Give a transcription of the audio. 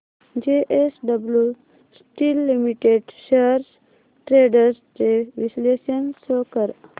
JSW steel limited shares trends चे विश्लेषण show कर